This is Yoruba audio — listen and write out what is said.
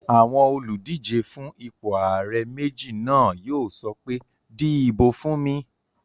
Àwọn olùdíjé fún ipò ààrẹ méjì náà yóò sọ pé "di ìbò fún mi!"